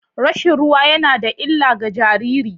Rashin ruwa yana da illa ga jariri.